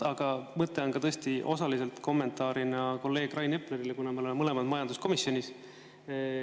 Aga mõte on osaliselt kommenteerida kolleeg Rain Eplerit, kuna me oleme mõlemad majanduskomisjonis.